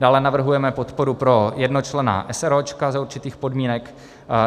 Dále navrhujeme podporu pro jednočlenná eseróčka za určitých podmínek.